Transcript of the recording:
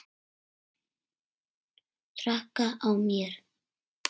Breytir öllu.